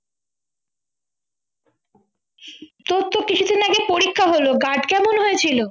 তোর তো কিছু দিন আগেই পরীক্ষা হলো guard কেমন হয়েছিল